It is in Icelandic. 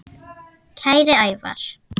Kæri Ævar.